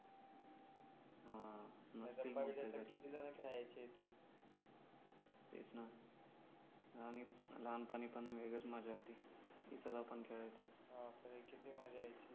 किती जण खेळायचे इथे तेच ना लहानपणी पण वेगळीच मजा होती इथेच आपण खेळायचो किती मजा यायची हा